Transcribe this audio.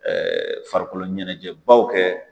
Ɛɛ farikolo ɲɛnajɛ baw kɛ